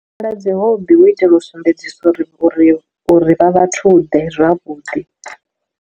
Kala dzi hobby hu itela u sumbedzisa uri uri uri vha vhathu ḓe zwavhuḓi.